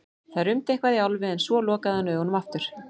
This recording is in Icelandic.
Það rumdi eitthvað í Álfi en svo lokaði hann augunum aftur.